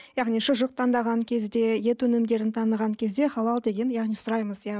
яғни шұжық таңдаған кезде ет өнімдерін таңдаған кезде халал деген яғни сұраймыз иә